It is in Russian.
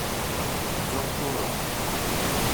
ковдором